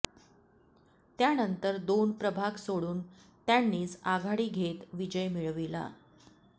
त्यानंतर दोन प्रभाग सोडून त्यांनीच आघाडी घेत विजय मिळविला